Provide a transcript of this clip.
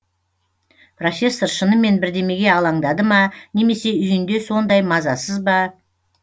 профессор шынымен бірдемеге алаңдады ма немесе үйінде сондай мазасыз ба